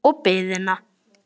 Og biðina.